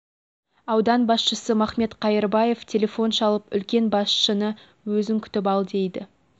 аудан басшысы махмет қайырбаев телефон шалып үлкен басшыны өзің күтіп ал дейді